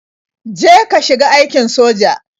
Je ka shiga aikin soja.